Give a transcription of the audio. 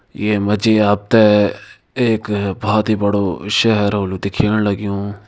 ये मजी आपते एक बोहोत ही बड़ो शहर होलु दिखेण लगियु।